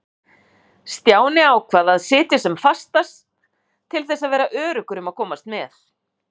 Stjáni ákvað að sitja sem fastast til þess að vera öruggur um að komast með.